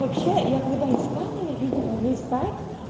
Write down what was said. вообще я когда искал я видела есть сайт